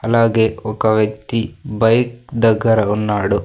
అలాగే ఒక వ్యక్తి బైక్ దగ్గర ఉన్నాడు.